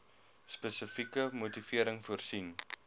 spesifieke motivering voorsien